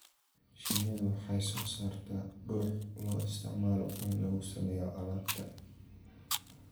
Shinnidu waxay soo saartaa dhux loo isticmaalo in lagu sameeyo alaabta.